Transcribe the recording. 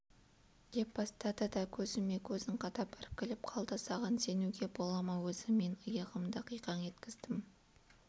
деп бастады да көзіме көзін қадап іркіліп қалды саған сенуге бола ма өзі мен иығымды қиқаң еткіздім